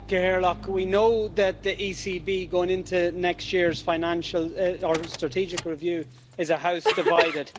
Madam President, we know that the ECB going into next year's financial or strategic review is a house divided.